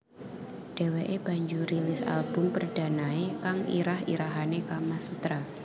Dheweke banjur rilis album perdanae kang irah irahane Kamasutra